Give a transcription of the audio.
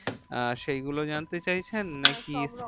আহ সেগুলো জানতে চাইছেন নাকি? হ্যাঁ সবরকম